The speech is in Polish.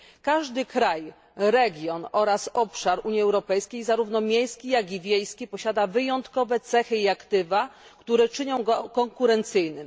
Każdy kraj, region oraz obszar Unii Europejskiej, zarówno miejski jak i wiejski, posiada wyjątkowe cechy i aktywa, które czynią go konkurencyjnym.